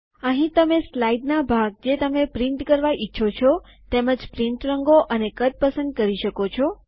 અહીં તમે સ્લાઇડના ભાગને જે તમે છાપવા ઈચ્છો છો તે તેમજ પ્રિન્ટ રંગો અને કદ પસંદ કરી શકો છો